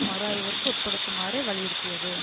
மறு ஆய்விற்கு உட்படுத்துமாறு வலியுறுத்தியது